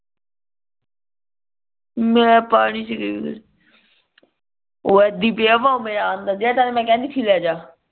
ਮੈਂ ਪਾਣੀ ਚ ਗਈ ਨਹੀਂ ਜੇੜ੍ਹਾ ਮੈਂ ਤੈਨੂ ਕਿਹੰਦੀ ਸੀ ਲੇਜਾ